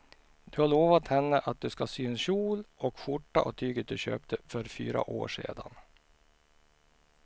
Du har lovat henne att du ska sy en kjol och skjorta av tyget du köpte för fyra år sedan.